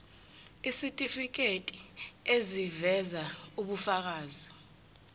isitifiketi eziveza ubufakazi